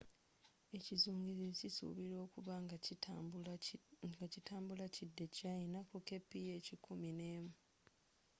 ekizungirizi kisuubirwa okubanga kitambula kidda e china ku kph kumineemu